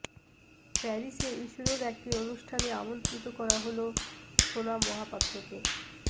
প্যারিসে ইসরোর একটি অনুষ্ঠানে আমন্ত্রিত করা হল সোনা মহাপাত্রকে